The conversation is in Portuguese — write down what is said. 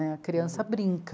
A criança brinca.